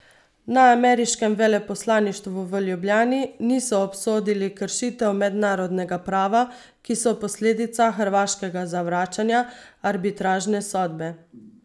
Na ameriškem veleposlaništvu v Ljubljani niso obsodili kršitev mednarodnega prava, ki so posledica hrvaškega zavračanja arbitražne sodbe.